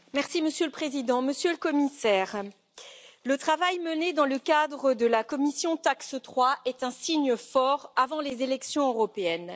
Monsieur le Président, Monsieur le Commissaire, le travail mené dans le cadre de la commission TAX3 est un signe fort avant les élections européennes.